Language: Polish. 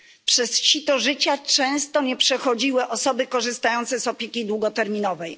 Przez sito życia często nie przechodziły osoby korzystające z opieki długoterminowej.